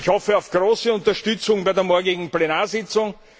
Ich hoffe auf große Unterstützung bei der morgigen Plenarsitzung.